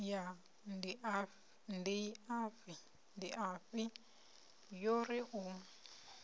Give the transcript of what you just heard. ya ndiafhi yo ri u